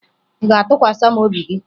Ị ga-atụkwasa m obi gị?